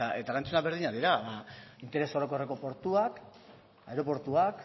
eta erantzunak berdinak dira interes orokorreko portuak aireportuak